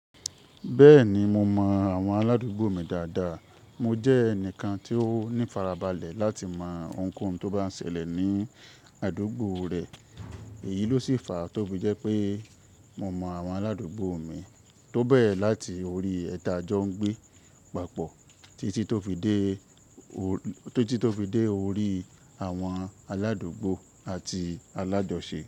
Bẹ́ẹ̀ni mo mọ àwọn aládùúgbò mi dáadáa. Mo jẹ́ ẹnìkan tí ó ní ifarabalẹ̀ láti mọ ohunkóhun tó bá ń ṣẹlẹ̀ ní àdúgbò rẹ. Èyí ló sì fa tó fi jẹ́ pé mo mọ àwọn aládúgbò mi, to bẹ́re láti orí ẹni ti a jọ́ ń gbé papọ̀ títí tó fi dé orí àwọn aládúgbò àti alájọṣe.